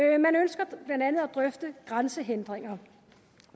drøfte grænsehindringer